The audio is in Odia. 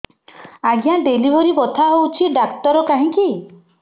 ଆଜ୍ଞା ଡେଲିଭରି ବଥା ହଉଚି ଡାକ୍ତର କାହିଁ କି